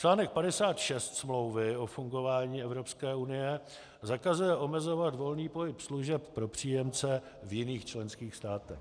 Článek 56 Smlouvy o fungování Evropské unie zakazuje omezovat volný pohyb služeb pro příjemce v jiných členských státech.